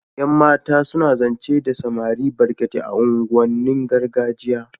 yan mata suna zance da samari barkate a unguwan nin gargajiya